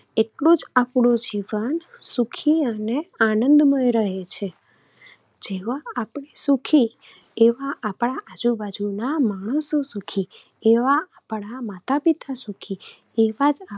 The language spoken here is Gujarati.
એટલું જ આપણું જીવન સુખી અને આનંદમય રહે છે. જેવા આપણે સુખી એવા આપણા આજુબાજુના માણસો સુખી. એવા આપણા માતાપિતા સુખી. એવા જ